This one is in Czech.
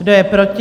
Kdo je proti?